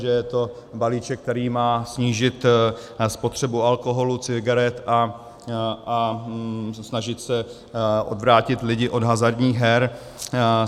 Že je to balíček, který má snížit spotřebu alkoholu, cigaret a snažit se odvrátit lidi od hazardních her.